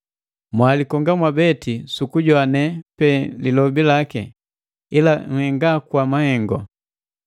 Mwalikonga mwabeti sukujoane pe lilobe laki, ila nhenga kwa mahengu.